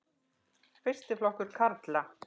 Fyrsti flokkur karla.